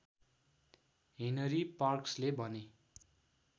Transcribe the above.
Henry पार्क्सले भने